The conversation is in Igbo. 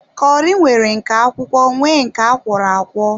Kọri nwere nke akwụkwọ nwee nke akwọro akwọ